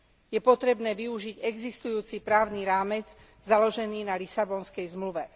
Je potrebné využiť existujúci právny rámec založený na Lisabonskej zmluve.